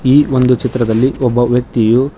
ಈ ಒಂದು ಚಿತ್ರದಲ್ಲಿ ಒಬ್ಬ ವ್ಯಕ್ತಿಯು.